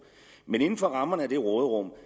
men inden for rammerne af det råderum